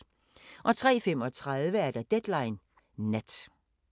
03:35: Deadline Nat